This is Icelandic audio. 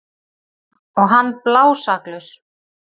Og hann blásaklaus.